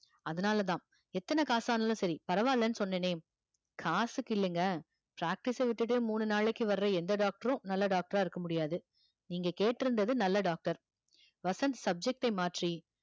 அதனாலதான் எத்தனை காசானாலும் சரி பரவாயில்லைன்னு சொன்னேனே காசுக்கு இல்லைங்க practice அ விட்டுட்டே மூணு நாளைக்கு வர்ற எந்த doctor ம் நல்ல doctor இருக்க முடியாது நீங்க கேட்டிருந்தது நல்ல doctor வசந்த் subject டை மாற்றி